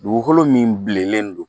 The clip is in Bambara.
Dugukolo min bilenlen don